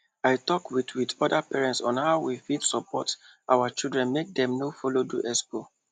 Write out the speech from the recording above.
i talk with with other parents on how we fit support our children make dem no follow do expo